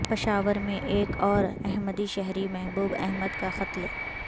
پشاور میں ایک اور احمدی شہری محبوب احمد کا قتل